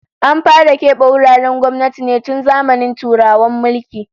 An fara kebe wuraren gwamnati ne tun zamanin Turawan mulki